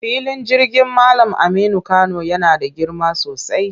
Filin jirgin Mallam Aminu Kano yana da girma sosai.